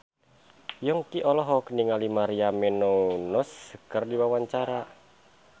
Yongki olohok ningali Maria Menounos keur diwawancara